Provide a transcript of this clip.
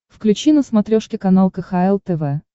включи на смотрешке канал кхл тв